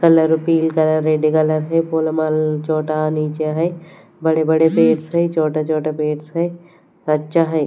Colour पील colour red colour है छोटा नीचे है बड़े-बड़े पेट्स हैं छोटा छोटा पेट्स हैं अच्छा है।